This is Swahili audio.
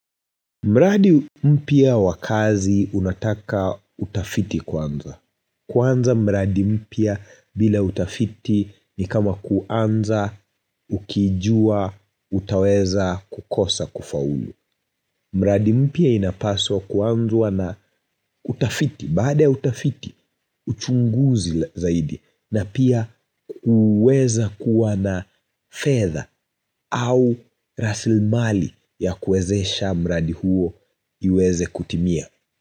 Mradi mpya wakazi unataka utafiti kwanza. Kwanza mpya mpia bila utafiti ni kama kuanza, ukijua, utaweza kukosa kufaulu. Mradi mpya inapaswa kuanzwa na utafiti, baad utafiti, uchunguzi zaidi na pia uweza kuwa na fedha au rasilmali ya kuwezesha mradi huo iweze kutimia.